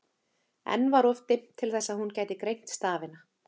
Enn var of dimmt til þess að hún gæti greint stafina.